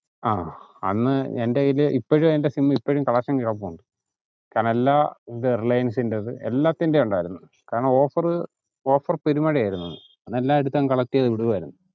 ആഹ് അന്നു എൻ്റെ കയ്യിൽ ഇപ്പോഴും എൻ്റെ sim ഐ ഇപ്പോഴും collection കിടപ്പുണ്ട് കാരണം എല്ലാ ഇത് റിലൈൻസിന്റേത് എല്ലാത്തിന്റെയും ഉണ്ടായിരുന്നു കാരണം offer റു offer പെരുമഴ ആയിരുന്നു അന്ന് എല്ലാം എടുത്തങ്ങു collect ചെയ്ത് വിടുവായിരുന്നു.